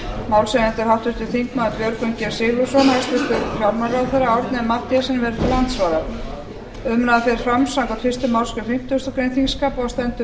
málshefjandi er háttvirtir þingmenn björgvin g sigurðsson hæstvirtur fjármálaráðherra árni m mathiesen verður til andsvara umræðan fer fram samkvæmt fyrstu málsgrein fimmtugustu grein þingskapa og stendur í hálfa klukkustund